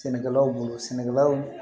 Sɛnɛkɛlaw bolo sɛnɛkɛlaw